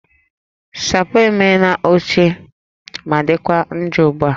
Sapo m emela ochie ma dịkwa njọ ugbu a